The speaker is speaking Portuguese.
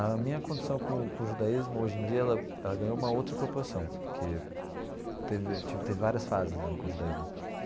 A minha condição com com o judaísmo, hoje em dia, ela ela ganhou uma outra proporção, porque teve eu tive várias fases né com o judaísmo.